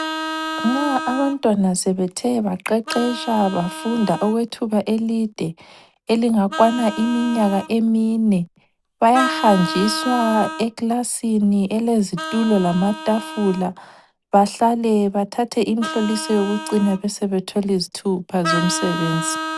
Nxa abantwana sebethe baqeqetsha bafunda okwethuba elide elingakwana iminyaka emine. Bayahanjiswa ekilasini elezitulo lama tafula. Bahlale bathathe imhloliso yokucina, besebethola izithupha zomsebenzi.